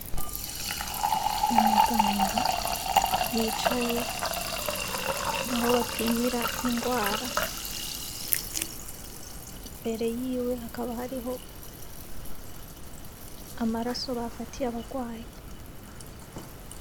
Umuganga yicaye aho bapimira ingwara imbere yiwe hakaba hariho amaraso bafatiye abagwayi.